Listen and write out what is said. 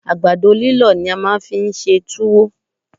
Àgbàdo líllọ̀ ni a máa fi ń ṣe túwó